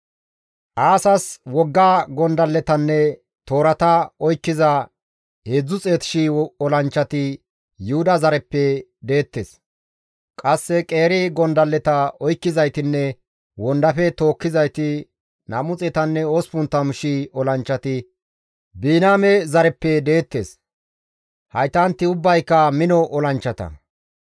Aasas wogga gondalletanne toorata oykkiza 300,000 olanchchati Yuhuda zareppe deettes; qasse qeeri gondalleta oykkizaytinne wondafe dukkizayti 280,000 olanchchati Biniyaame zareppe deettes. Haytanti ubbayka mino olanchchata.